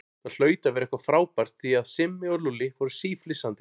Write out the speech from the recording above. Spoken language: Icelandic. Það hlaut að vera eitthvað frábært því að Simmi og Lúlli voru síflissandi.